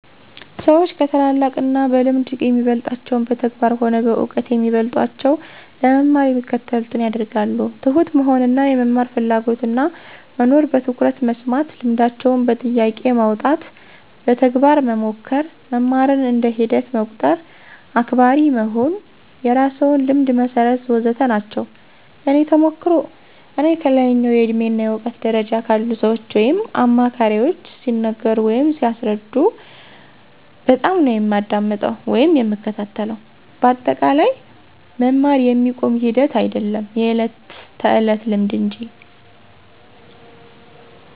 ሰዎች ከታላላቅ እና በልምድ የሚበልጣቸውን በተግባር ሆነ በእውቀት ከሚበልጦቸው ለመማር የሚከተሉትን ያደርጋሉ፦ ትሁት መሆን እና የመማር ፍላጎትና መኖር፣ በትኩረት መስማት፣ ልምዳቸውን በጥያቄ ማውጣት፣ በተግባር መሞከር፣ መማርን እንደ ሂደት መቁጠር፣ አክባሪ መሆን፣ የራስዎን ልምድ መሠርት... ወዘተ ናቸው። የእኔ ተሞክሮ፦ እኔ ከላይኛው የእድሜ እና እውቀት ደረጃ ካሉ ሰዎች ወይም አማካሪዎች ሲነገሩ ወይም ሲያስረዱ በጣምነው የማዳምጠው ወይም የምከታተለው በአጠቃላይ መማር የሚቆም ሂደት አይዶለም የዕለት ተዕለት ልምምድ እንጂ።